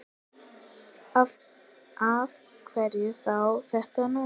Af hverju þá þetta núna?